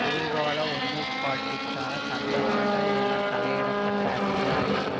பூகோள ஒருமைப்பாட்டிற்கான சந்தர்ப்பங்கள் என தலைப்பிட பட்ட அத்தியாயத்தில்